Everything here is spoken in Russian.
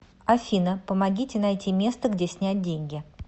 афина помогите найти место где снять деньги